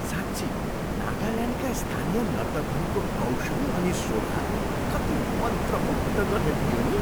साँच्ची नागाल्यान्डका स्थानीय नर्तकहरूको कौशल अनि शोभा कति मन्त्रमुग्ध गर्ने थियो नि?